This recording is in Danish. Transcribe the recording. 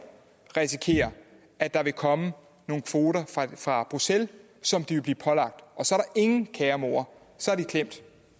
risikere at der vil komme nogle kvoter fra bruxelles som de vil blive pålagt og så er ingen kære mor så er de klemt